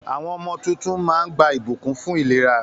Àwọn ọmọ tuntun máa ń gba ìbùkún fún ìlera.